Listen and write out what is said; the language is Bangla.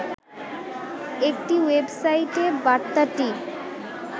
একটি ওয়েবসাইটে বার্তাটি